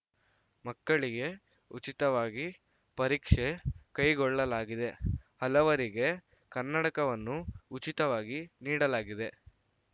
ಮಕ್ಕಳಿಗೆ ಉಚಿತವಾಗಿ ಪರೀಕ್ಷೆ ಕೈಗೊಳ್ಳಲಾಗಿದೆ ಹಲವರಿಗೆ ಕನ್ನಡಕವನ್ನು ಉಚಿತವಾಗಿ ನೀಡಲಾಗಿದೆ